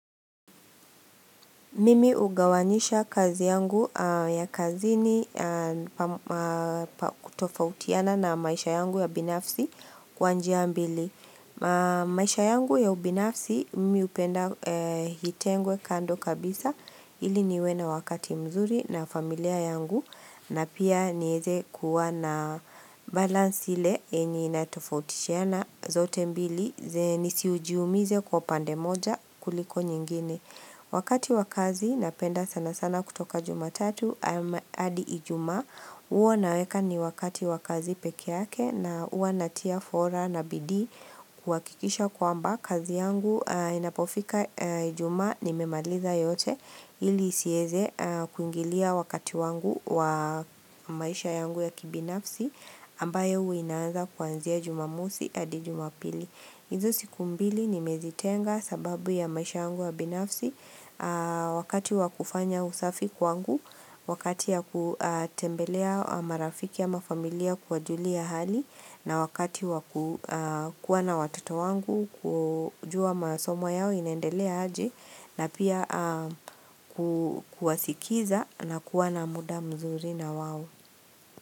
Mimi hugawanyisha kazi yangu ya kazini tofautiana na maisha yangu ya binafsi kwa njia mbili. Maisha yangu ya ubinafsi mimi hupenda itengwe kando kabisa ili niwe na wakati mzuri na familia yangu na pia niweze kuwa na balance ile yenye inatofautishiana zote mbili ze nisiujiumize kwa pande moja kuliko nyingine. Wakati wa kazi napenda sana sana kutoka jumatatu adi ijumaa huwa naweka ni wakati wakazi pekee yake na huwa natia fora na bidii kuhakikisha kwamba kazi yangu inapofika ijumaa nimemaliza yote ili isieze kuingilia wakati wangu wa maisha yangu ya kibinafsi ambayo inaanza kwanzia jumamosi hadi jumapili. Hizi siku mbili nimezitenga sababu ya maisha yangu ya binafsi wakati wa kufanya usafi kwangu, wakati ya kutembelea marafiki ama familia kuwajulia hali na wakati wa kuwa na watoto wangu kujua masomo yao inendelea aje na pia kuwasikiza na kuwa na muda mzuri na wao.